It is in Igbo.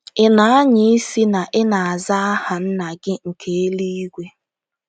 Ị̀ na-anya isi na ị na-aza aha Nna gị nke eluigwe?